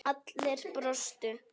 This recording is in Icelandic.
Allir brostu.